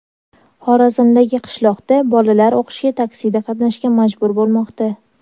Xorazmdagi qishloqda bolalar o‘qishga taksida qatnashga majbur bo‘lmoqda.